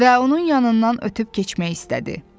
Və onun yanından ötüb keçmək istədi.